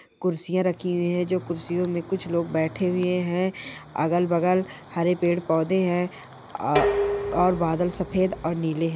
कुर्सियाँ रखी हुई है जो कुरसियों मे कुछ लोग बैठे हुए है अगल बगल हरे पेड़ पौधे है अ-और बादल सफेद और नीले है ।